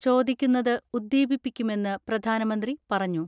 ചോദിക്കുന്നത് ഉദ്ദീപിപ്പിക്കുമെന്ന് പ്രധാനമന്ത്രി പറഞ്ഞു.